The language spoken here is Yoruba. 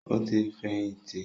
Ó ti fẹ̀yìntì.